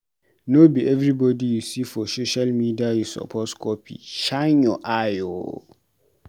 No be everybodi you see for social media you suppose copy, shine your eye o.